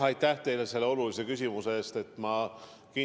Aitäh teile selle olulise küsimuse eest!